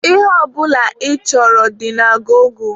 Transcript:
Ihe ọ bụla ị chọrọ dị na gọgụ.